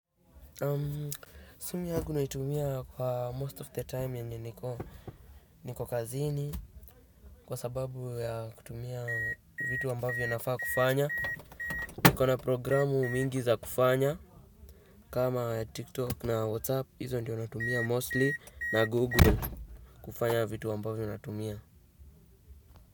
Simu yagu naitumia kwa most of the time yenye niko, niko kazini kwa sababu ya kutumia vitu ambavyo nafaa kufanya. Niko na programu mingi za kufanya. Kama TikTok na WhatsApp, izo ndio natumia mostly. Na Google kufanya vitu ambavyo natumia.